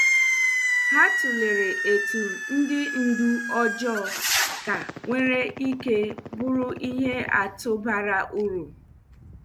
Ha tulere etu ndị ndú ọjọọ ka nwere ike bụrụ ihe atụ bara uru.